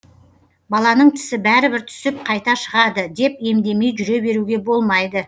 баланың тісі бәрібір түсіп қайта шығады деп емдемей жүре беруге болмайды